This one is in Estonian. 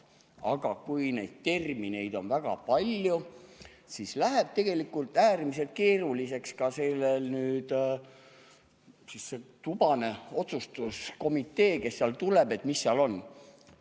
Aga kui neid termineid on väga palju, siis läheb tegelikult äärmiselt keeruliseks sellel tubasel otsustuskomiteel, kes seal tuleb, et mis seal on.